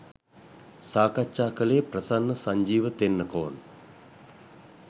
සාකච්ඡා කළේ ප්‍රසන්න සංජීව තෙන්නකෝන්